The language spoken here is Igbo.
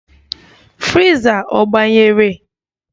Friza ọ gbanyere?